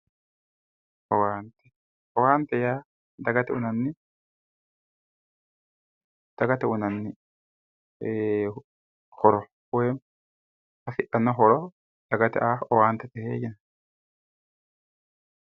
owaante owaante yaa dagate uyiinanni dagate uyiinanni horo woyi hasixanno horo dagate aa owaantete yineemo